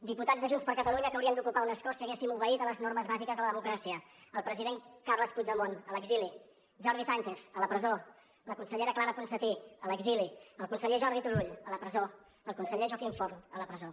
diputats de junts per catalunya que haurien d’ocupar un escó si haguéssim obeït les normes bàsiques de la democràcia el president carles puigdemont a l’exili jordi sànchez a la presó la consellera clara ponsatí a l’exili el conseller jordi turull a la presó el conseller joaquim forn a la presó